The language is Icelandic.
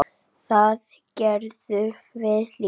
Það gerðum við líka.